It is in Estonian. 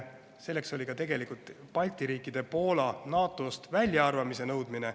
Selleks oli tegelikult ka Balti riikide ja Poola NATO-st väljaarvamise nõudmine.